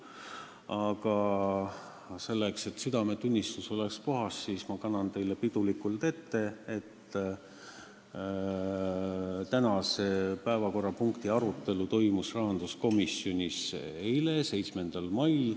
Aga selleks, et südametunnistus oleks puhas, kannan ma teile pidulikult ette, et tänase päevakorrapunkti arutelu toimus rahanduskomisjonis eile, 7. mail.